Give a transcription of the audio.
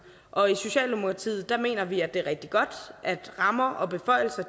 og i socialdemokratiet mener vi at det er rigtig godt at rammer og beføjelser